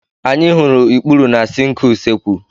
Anyị hụrụ ikpuru na sịnkị usekwụ.